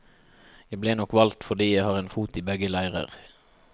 Jeg ble nok valgt fordi jeg har en fot i begge leirer.